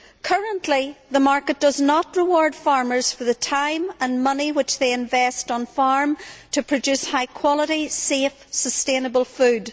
Currently, the market does not reward farmers for the time and money which they invest in farming to produce high quality, safe, sustainable food.